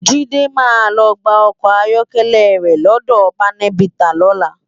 Jide má lò gbá òkò áyòkèlè re lòdò pánèbitá lòlá